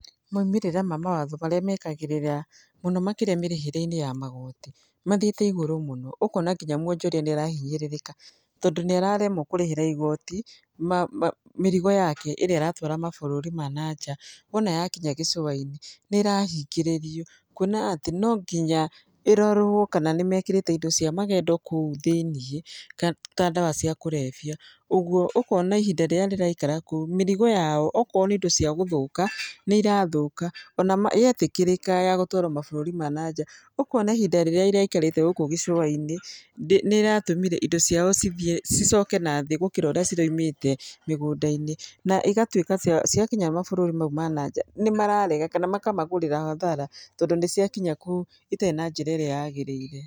Maumĩrĩra ma mawatho marĩa mekagĩrĩra mũno makĩria mĩrĩhĩre-inĩ ya magoti, mathiĩte igũrũ mũno, ũkona nginya mwonjoria nĩ arahinyĩrĩrĩka. Tondũ nĩararemwo kũrĩhĩra igoti, mĩrigo yake ĩrĩa aratwara mabũrũri ma nanja. Wona yakinya gĩcũa-inĩ nĩ ĩrahingĩrĩrio kuona atĩ no nginya ĩrorwo kana nĩ mekĩrĩte indo cia magendo kũu thĩiniĩ ta ndawa cia kũrebia, ũguo ũkona ihinda rĩrĩa rĩraikara kũu mĩrigo yao okorwo nĩ indo cia gũthũka, nĩ irathũka. Ona yetĩkĩrĩka ya gũtwaro mabũrũri ma nanja ũkona ihnda rĩrĩa ĩraikarĩte gũkũ gĩcũa-inĩ nĩ ĩratũmire indo ciao cicoke nathĩ gũkĩra ũrĩa ciraumĩte mĩgũnda-inĩ. Na igatuĩka cia ciakinya mabũrũri mau ma naja, nĩ mararega kana makamagũrĩra hathara tondũ nĩ ciakinya kũu citarĩ na njĩra ĩrĩa yagĩrĩire.